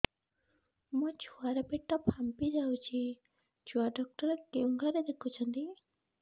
ମୋ ଛୁଆ ର ପେଟ ଫାମ୍ପି ଯାଉଛି ଛୁଆ ଡକ୍ଟର କେଉଁ ଘରେ ଦେଖୁ ଛନ୍ତି